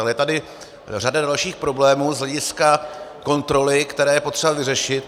Ale je tady řada dalších problémů z hlediska kontroly, které je potřeba vyřešit.